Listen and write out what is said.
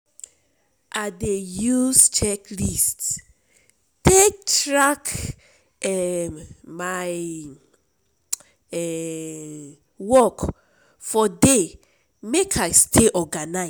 I dey use checklists take track um my um work for day make I stay organized.